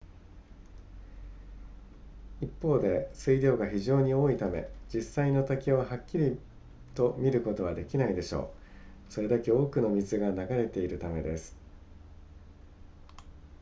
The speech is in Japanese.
一方で水量が非常に多いため実際の滝をはっきりと見ることはできないでしょうそれだけ多くの水が流れているためです